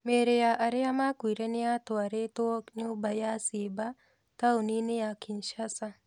Mĩrĩ ya arĩa makuĩre nĩ yatwarĩtwo nyũmba ya ciiba taũni-inĩ ya Kinshasa.